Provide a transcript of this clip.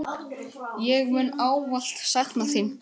Ég mun ávallt sakna þín.